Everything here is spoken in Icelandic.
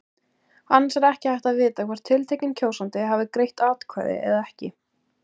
Annars er ekki hægt að vita hvort tiltekinn kjósandi hafi greitt atkvæði eða ekki.